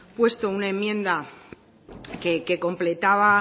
puesto una enmienda que completaba